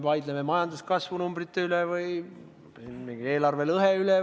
Me vaidleme majanduskasvu numbrite üle või mingi eelarvelõhe üle.